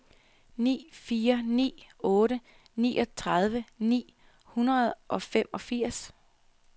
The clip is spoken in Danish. ni fire ni otte niogtredive ni hundrede og femogfirs